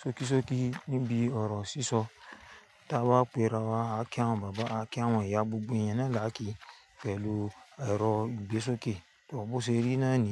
sókí sókí níbi ọ̀rọ̀ sísọ tí a bá pé ra wa. A kí àwọn bàbá, a kí àwọn ìyá gbogbo eeyan náà lá kì pẹ̀lú ẹ̀rọ ìgbésókè, bó ṣe rí iná ni.